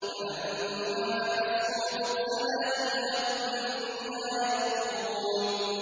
فَلَمَّا أَحَسُّوا بَأْسَنَا إِذَا هُم مِّنْهَا يَرْكُضُونَ